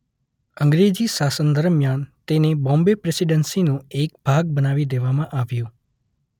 અંગ્રેજી શાસન દરમિયાન તેને બોમ્બે પ્રેસિડેંસીનો એક ભાગ બનાવી દેવામાં આવ્યું.